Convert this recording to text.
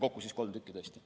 Kokku kolm tükki, tõesti.